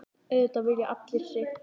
Auðvitað vilji allir sitt.